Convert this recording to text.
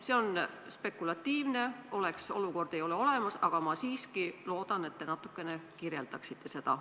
See küsimus on spekulatiivne, oleks-olukordi ei ole olemas, aga ma siiski loodan, et te natukene kirjeldate seda.